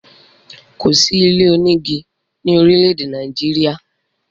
Kò sí ilé onígi ni orile-ede Nàìjíríà.